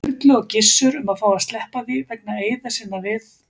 Sturlu og Gissur um að fá að sleppa því, vegna eiða sinna við